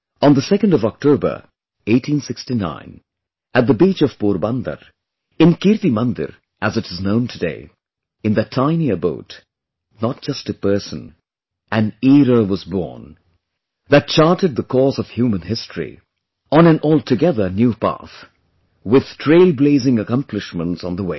On the 2nd of October, 1869, at the beach of Porbandar, in Kirti Mandir as it is known today,... in that tiny abode, not just a person; an era was born, that charted the course of human history on an altogether new path, with trail blazing accomplishments on the way